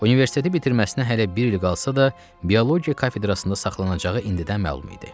Universiteti bitirməsinə hələ bir il qalsa da, biologiya kafedrasında saxlanacağı indidən məlum idi.